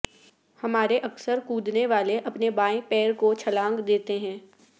ہمارے اکثر کودنے والے اپنے بائیں پیر کو چھلانگ دیتے ہیں